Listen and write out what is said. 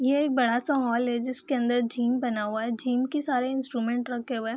ये एक बड़ा सा हॉल है जिसके अंदर जिम बना हुआ है जिम के सारे इंस्ट्रूमेंट रखे हुए हैं।